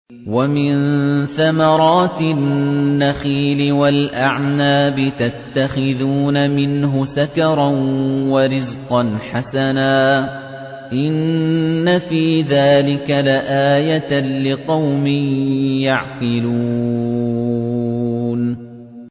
وَمِن ثَمَرَاتِ النَّخِيلِ وَالْأَعْنَابِ تَتَّخِذُونَ مِنْهُ سَكَرًا وَرِزْقًا حَسَنًا ۗ إِنَّ فِي ذَٰلِكَ لَآيَةً لِّقَوْمٍ يَعْقِلُونَ